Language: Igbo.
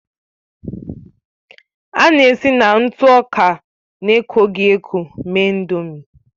A na-esi na ntụ ọka na-ekoghị eko mee Ị̀ndómị́